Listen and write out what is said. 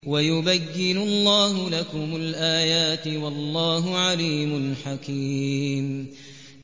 وَيُبَيِّنُ اللَّهُ لَكُمُ الْآيَاتِ ۚ وَاللَّهُ عَلِيمٌ حَكِيمٌ